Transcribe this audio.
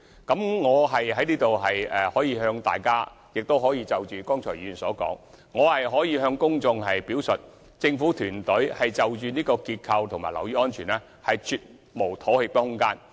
回應議員剛才的發言，我想在此向各位議員及公眾表述，政府團隊對結構及樓宇安全，絕無妥協的空間。